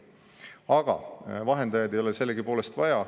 Aga vahendajaid ei ole sellegipoolest vaja.